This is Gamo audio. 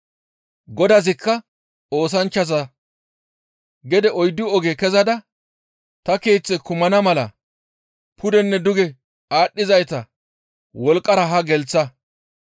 «Godazikka oosanchchaza, ‹Gede oyddu oge kezada ta keeththe kumana mala pudenne duge aadhdhizayta wolqqara haa gelththa.